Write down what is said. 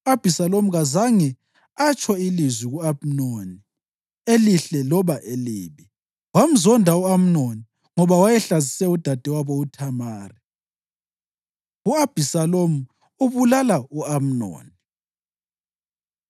U-Abhisalomu kazange atsho lizwi ku-Amnoni, elihle loba elibi; wamzonda u-Amnoni ngoba wayehlazise udadewabo uThamari. U-Abhisalomu Ubulala U-Amnoni